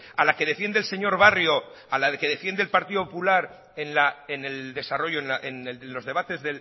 a la que defiende el señor barrio a la que defiende el partido popular en el desarrollo en los debates